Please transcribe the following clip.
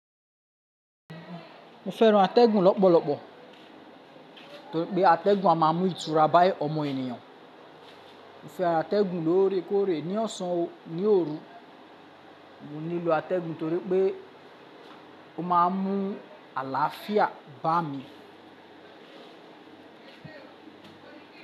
Mo fẹ́ran atẹ́gùn lọ́pọ̀lọ́pọ̀ torí pé atẹ́gùn a máa mú ìtura bá ọmọ ènìyàn. Mo fẹ́ran atẹ́gùn lóóre kóóre ní ọ̀sán, ní òru, mo nílò atẹ́gùn torí pé ó má a mú àlàáfíà bá mi.